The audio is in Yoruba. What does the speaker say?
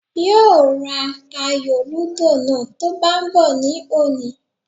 Yóò ra ayò lúdò náà tó ń bá bọ̀ ní òní